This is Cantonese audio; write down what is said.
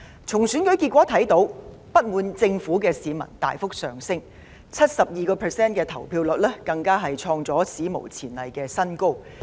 從選舉結果可見，不滿政府的市民大幅增加 ，71% 的投票率更是創下史無前例的新高。